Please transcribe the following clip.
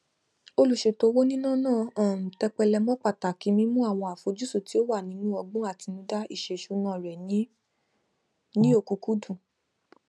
olùṣètò owó níná náà um tẹpẹlẹ mọ pàtàkì mímú àwọn àfojúsùn tí ó wà nínú ọgbọn àtinúdá iṣèṣúná rẹ ní ní ọkúkúdùn